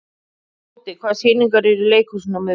Tóti, hvaða sýningar eru í leikhúsinu á miðvikudaginn?